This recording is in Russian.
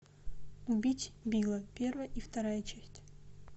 убить билла первая и вторая часть